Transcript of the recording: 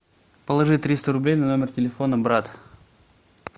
положи триста рублей на номер телефона брат